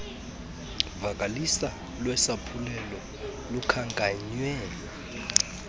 vakaliso lwesaphulelo lukhankanywe